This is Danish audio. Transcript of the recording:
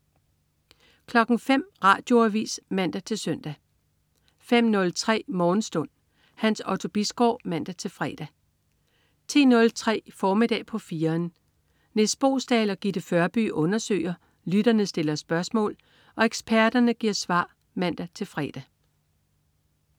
05.00 Radioavis (man-søn) 05.03 Morgenstund. Hans Otto Bisgaard (man-fre) 10.03 Formiddag på 4'eren. Nis Boesdal og Gitte Førby undersøger, lytterne stiller spørgsmål og eksperterne giver svar (man-fre)